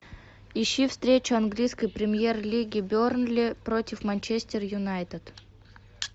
ищи встречу английской премьер лиги бернли против манчестер юнайтед